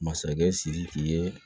Masakɛ sidiki ye